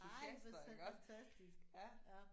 Ej hvor fantastisk ja